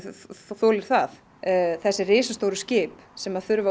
þolir það þessi risastóru skip sem þurfa